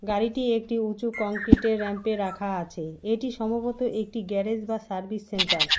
গাড়িটি একটি উঁচু কংক্রিটের ব়্যাম্পে রাখা আছে এটি সম্ভবত একটি গ্যারেজ বা সার্ভিস সেন্টার ।